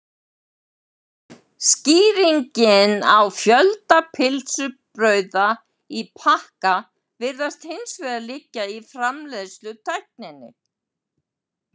Skýringin á fjölda pylsubrauða í pakka virðist hins vegar liggja í framleiðslutækninni.